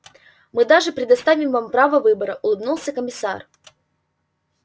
мы даже предоставим вам право выбора улыбнулся комиссар